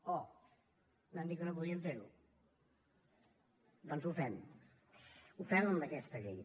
oh no han dit que no podíem fer ho doncs ho fem ho fem amb aquesta llei